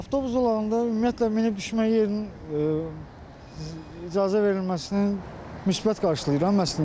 Avtobus zolağında ümumiyyətlə minib düşmə yerinin icazə verilməsini müsbət qarşılayıram, əslində.